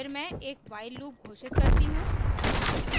फिर मैं एक while लूप घोषित करती हूँ